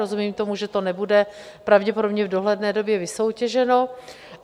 Rozumím tomu, že to nebude pravděpodobně v dohledné době vysoutěženo.